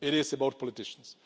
it is about politicians.